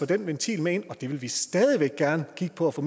den ventil med ind vi vil stadig væk gerne kigge på at få